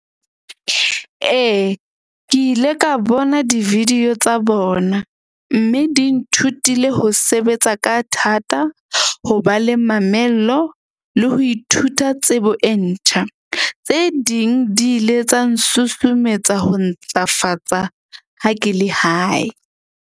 Ee, ke ile ka bona di-video tsa bona. Mme di nthutile ho sebetsa ka thata, ho ba le mamello le ho ithuta tsebo e ntjha. Tse ding di ile tsa nsusumetsa ho ntlafatsa ha ke le hae.